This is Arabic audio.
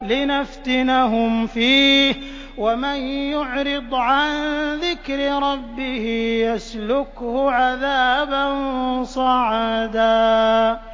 لِّنَفْتِنَهُمْ فِيهِ ۚ وَمَن يُعْرِضْ عَن ذِكْرِ رَبِّهِ يَسْلُكْهُ عَذَابًا صَعَدًا